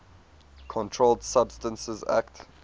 controlled substances acte